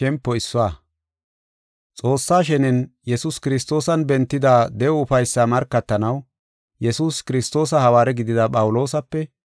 Xoossaa shenen, Yesuus Kiristoosan bentida de7o ufaysaa markatanaw Yesuus Kiristoosa hawaare gidida Phawuloosape,